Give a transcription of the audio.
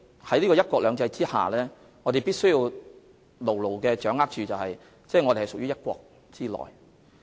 在"一國兩制"下，我們必須牢牢掌握和緊記，香港屬於"一國"之內。